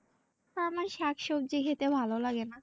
আমার শাক সব্জি খেতে ভালো লাগে না।